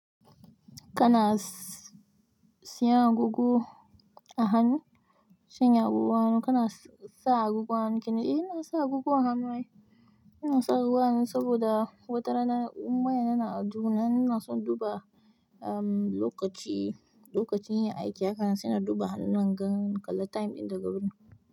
Kana siyan agogo a hannu, sanya agogon hanu, kana sa agogon hanu kenan? Eh, ina sa agogo a hannu ai. Ina sa agogo a hannu saboda watarana, in waya yana aljihu na in ina so induba um lokaci, lokacin yin aiki, haka sai in duba hannuna in gani in kalla time ɗin daga wurin.